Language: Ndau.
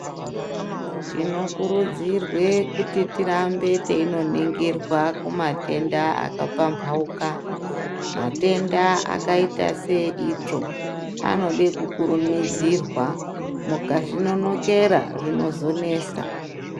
Tinokurudzirwe kuti tirambe teinoningirwa kumatenda akapamphauka. Matenda akaita seeitsvo, anode kukurumidzirwa. Mukazvinonokera zvinozonesa.